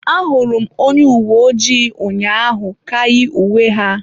Ahụrụ m onye uwe ojii ụnyaahụ ka yi uwe ha.